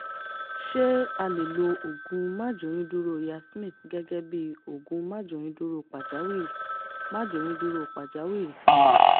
ṣé a lè lo oògùn máàjóyúndúró yasmin +G8831 gẹ́gẹ́ bí oògùn máàjóyúndúró pàjáwìrì? máàjóyúndúró pàjáwìrì?